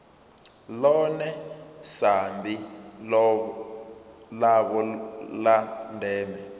ḽone sambi ḽavho ḽa ndeme